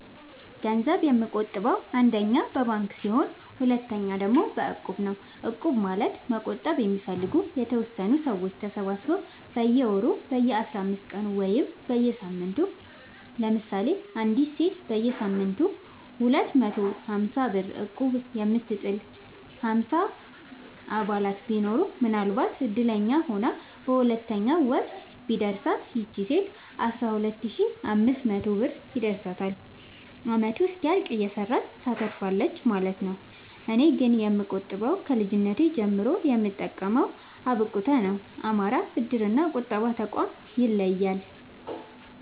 ገንዘብ የምቆ ጥበው አንደኛ በባንክ ሲሆን ሁለተኛ ደግሞ በእቁብ ነው እቁብ ማለት መቁጠብ የሚፈልጉ የተወሰኑ ሰዎች ተሰባስበው በየወሩ በየአስራአምስት ቀኑ ወይም በየሳምንቱ ለምሳሌ አንዲት ሴት በየሳምንቱ ሁለት መቶ ሀምሳብር እቁብጥል ሀምሳ አባላት ቢኖሩት ምናልባትም እድለኛ ሆና በሁለተኛው ወር ቢደርሳት ይቺ ሴት አስራሁለት ሺ አምስት መቶ ብር ይደርሳታል አመቱ እስኪያልቅ እየሰራች ታተርፋለች ማለት ነው። እኔ ግን የምቆጥበው ከልጅነቴ ጀምሮ የምጠቀመው አብቁተ ነው። አማራ ብድር እና ቁጠባ ጠቋም ይለያል።